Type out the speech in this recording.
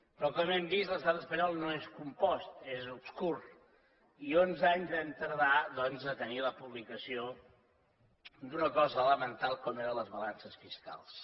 però com hem vist l’estat espanyol no és compost és obscur i onze anys vam tardar doncs a tenir la publicació d’una cosa elemental com eren les balances fiscals